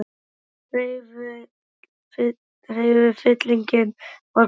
Annar hreyfillinn var kominn í gang.